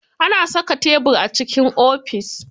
Ana saka tebir a cikin ofis.